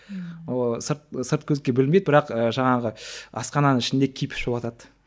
ооо сырт сырт көзге білінбейді бірақ і жаңағы асхананың ішінде кипишь болыватады